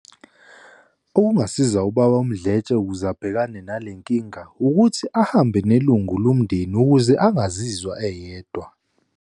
Okungasiza uBaba uMdletshe ukuze abhekane nale nkinga ukuthi ahambe nelungu lomndeni ukuze engazizwa eyedwa.